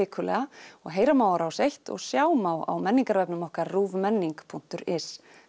og heyra má á Rás eins og sjá má á menningarvefnum okkar punktur is